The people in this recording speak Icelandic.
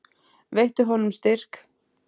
Veittu honum styrk.